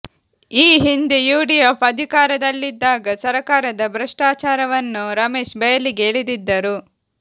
ಈ ಹಿಂದೆ ಯುಡಿಎಫ್ ಅಧಿಕಾರದಲ್ಲಿದ್ದಾಗ ಸರಕಾರದ ಭ್ರಷ್ಟಾಚಾರವನ್ನು ರಮೇಶ್ ಬಯಲಿಗೆ ಎಳೆದಿದ್ದರು